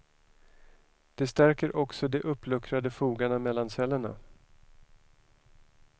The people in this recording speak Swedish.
Det stärker också de uppluckrade fogarna mellan cellerna.